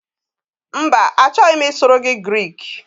Mba, achọghị m ịsụrụ gị Grik